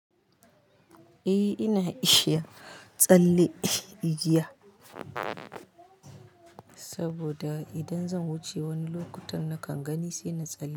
Eh ina ishia tsalle igiya, saboda idan zan wuce wani lokutan nakan gani sai na tsalle.